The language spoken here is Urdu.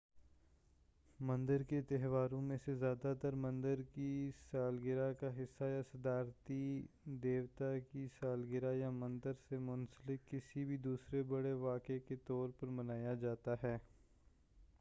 مندر کے تہواروں میں سے زیادہ تر مندر کی سالگرہ کا حصہ یا صدارتی دیوتا کی سالگرہ یا مندر سے منسلک کسی بھی دوسرے بڑے واقعے کے طور پر منایا جاتا ہے